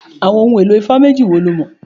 Àwọn ohun èlò ifá méjì wo lo mọ̀?